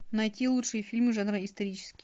найти лучшие фильмы жанра исторический